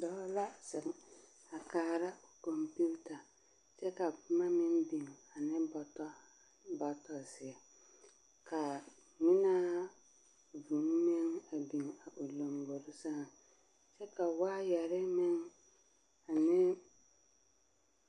Dɔɔ la zeŋ a kaara kɔmpiita kyɛ ka boma meŋ biŋ ane bɔtɔzeɛ ka ŋmenaa vūū meŋ biŋ a o lambori seŋ kyɛ ka waayɛre meŋ ne